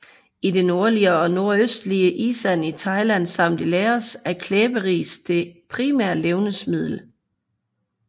I det nordlige og nordøstlige Isan i Thailand samt i Laos er klæberis det primære levnedsmiddel